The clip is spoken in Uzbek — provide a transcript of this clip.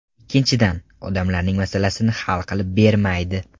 Ikkinchidan, odamlarning masalasini hal qilib bermaydi.